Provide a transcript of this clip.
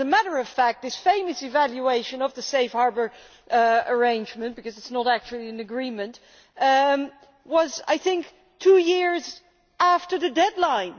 As a matter of fact, this famous evaluation of the Safe Harbour arrangement because it is not actually an agreement came, I think, two years after the deadline.